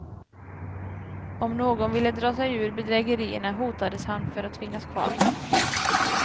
Om någon ville dra sig ur bedrägerierna hotades han för att tvingas kvar.